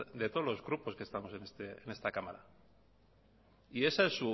de todos los grupos que estamos en esta cámara